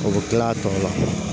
O bɛ kila a tɔw la